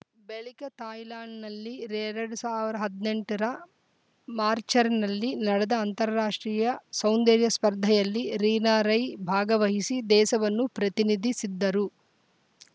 ಬಳಿಕ ಥಾಯ್ಲೆಂಡ್‌ನಲ್ಲಿ ಎರಡ್ ಸಾವಿರದ ಹದಿನೆಂಟ ರ ಮಾಚ್‌ರ್‍ನಲ್ಲಿ ನಡೆದ ಅಂತಾರಾಷ್ಟ್ರೀಯ ಸೌಂದರ್ಯ ಸ್ಪರ್ಧೆಯಲ್ಲಿ ರೀನಾ ರೈ ಭಾಗವಹಿಸಿ ದೇಶವನ್ನು ಪ್ರತಿನಿಧಿ ಸಿದ್ದರು